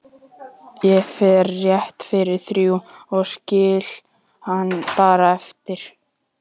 Ég fer rétt fyrir þrjú og skil hann bara eftir